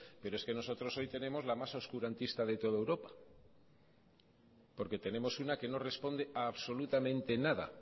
pero es que nosotros hoy tenemos la más oscurantista de toda europa porque tenemos una que no responde absolutamente nada